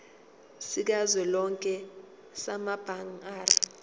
sikazwelonke samabanga r